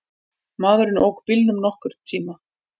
Maðurinn ók bílnum nokkurn tíma.